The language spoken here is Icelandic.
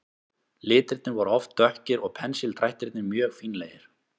Litirnir voru oft dökkir og pensildrættirnir mjög fínlegir.